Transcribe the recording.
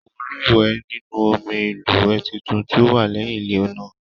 Mo luwẹ̀ nínú omí ilúwẹ títún tí o wà lẹyìn ilé náà.